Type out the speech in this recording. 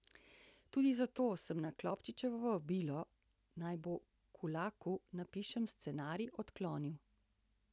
Tudi zato sem na Klopčičevo vabilo, naj po Kulaku napišem scenarij, odklonil.